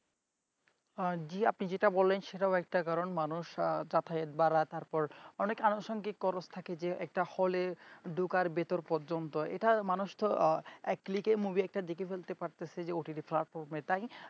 জি আপনি যেটা বললেন সেটাও একটা কারণ মানুষ তাতারের বারার তারপর অনেক আনুষঙ্গিক খরচ থাকে যে একটা হলের ধোকার ভিতর পর্যন্ত এটা মানুষ তো এক click একটা movie দেখে ফেলতে পারতাছে ও ott platform তাই